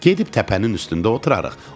Gedib təpənin üstündə oturarıq.